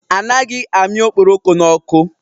Anaghị amị okporoko n'ọkụ.